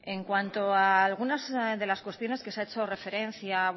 en cuanto a algunas de las cuestiones que se ha hecho referencia